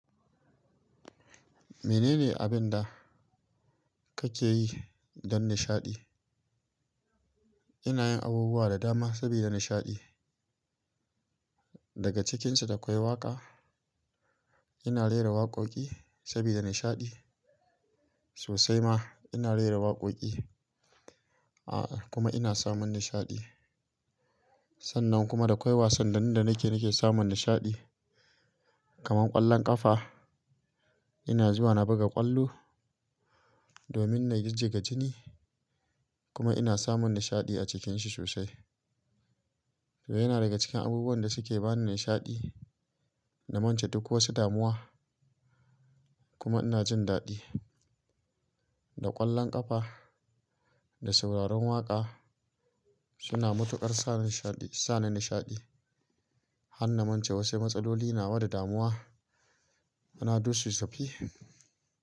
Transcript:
Menene abin da kake yi don nishaɗi? Ina yin abubuwa da dama saboda nishaɗi. Daga cikinsu da kwai waƙa ina rera waƙoƙi saboda nishaɗi sosai ma ina rera waƙoƙi a kuma ina samun nishaɗi. Sannan kuma da kwai wasanni da nikeyi nake samun nishaɗi kamar ƙwallon ƙafa ina zuwa na buga ƙwallo domin na jijjiga jini kuma ina samun nishaɗi a cikinshi sosai. To yana daga cikin abubuwan da suke bani nishaɗi na mance duk wasu damuwa kuma ina jin daɗi. Da ƙwallon ƙafa da sauraron waƙa suna matuƙar sa nishaɗi, sa ni nishaɗi. Hanna mance wasu matsaloli nawa da damuwa ana dusasefi.